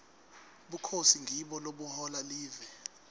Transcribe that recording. bukhosi ngibo lobuhola live